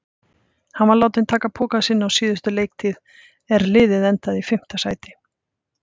Hann var látinn taka pokann sinn á síðustu leiktíð er liðið endaði í fimmta sæti.